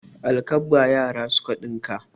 Alkabba yara suka ɗinka.